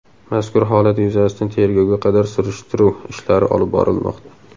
Mazkur holat yuzasidan tergovga qadar surishtiruv ishlari olib borilmoqda.